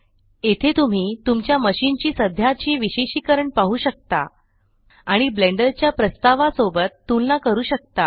येथे तुम्ही तुमच्या मशीन ची सध्याची विशेषिकरण पाहु शकता आणि ब्लेण्डर च्या प्रस्तावा सोबत तुलना करू शकता